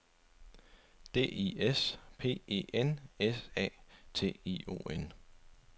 D I S P E N S A T I O N